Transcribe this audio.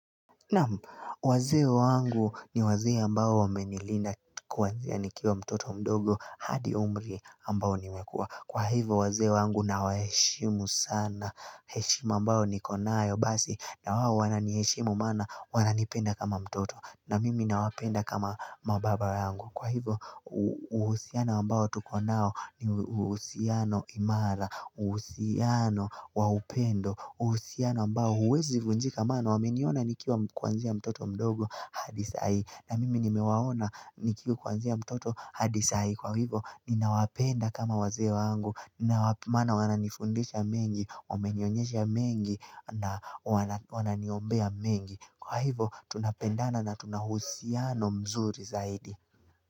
Naam wazee wangu ni wazee mbao wamenilinda kuanzia nikiwa mtoto mdogo hadi umri mbao nimekua. Kwa hivo wazee wangu na waheshimu sana. Heshima ambayo nikonayo basi na wao wana niheshimu maana wana nipenda kama mtoto na mimi na wapenda kama mababa yangu. Kwa hivo uhusiano mbao tukonao ni uhusiano imara, uhusiano waupendo, uhusiano ambao huwezi vunjika maana wameniona nikiwa kuanzia mtoto mdogo hadi saii. Na mimi nimewaona nikiwa kuanzia mtoto hadi saii. Kwa hivyo, ninawapenda kama wazee wangu. Ninawa maana wananifundisha mengi, wamenionyesha mengi, na wananiombea mengi. Kwa hivyo, tunapendana na tunahusiano mzuri zaidi.